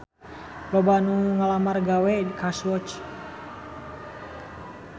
Loba anu ngalamar gawe ka Swatch